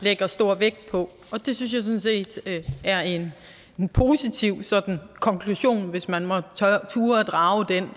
lægger stor vægt på det synes jeg sådan set er en positiv konklusion hvis man måtte turde drage den